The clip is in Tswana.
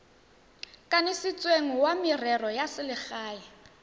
kanisitsweng wa merero ya selegae